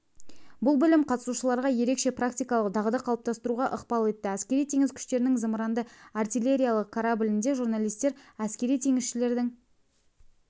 бұл білім қатысушыларға ерекше практикалық дағды қалыптастыруға ықпал етті әскери-теңіз күштерінің зымыранды-артиллериялық кораблінде журналистер әскери теңізшілердің